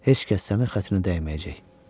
Heç kəs sənin xətrinə dəyməyəcək.